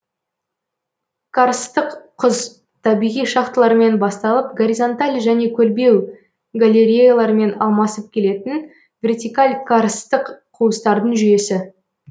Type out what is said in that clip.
карсттық құз табиғи шахталармен басталып горизонталь және көлбеу галереялармен алмасып келетін вертикаль карсттық қуыстардың жүйесі